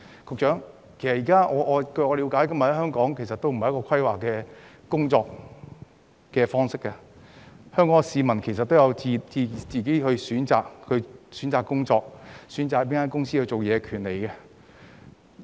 局長，據我了解，現時香港沒有規劃的工作方式，市民有自行選擇工作及選擇到哪間公司工作的權利。